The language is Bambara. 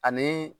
Ani